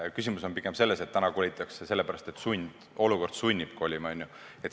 Küsimus on pigem selles, et kolitakse selle pärast, et olukord sunnib kolima.